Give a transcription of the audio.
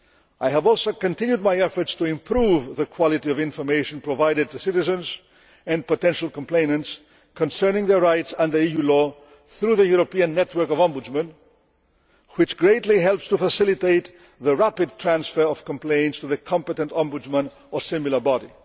I have also continued my efforts to improve the quality of information provided to citizens and potential complainants concerning their rights under EU law through the European network of Ombudsmen which greatly helps to facilitate the rapid transfer of complaints to the competent Ombudsman or similar body.